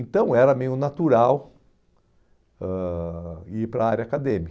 Então, era meio natural ãh ir para a área